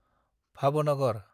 Bhavnagar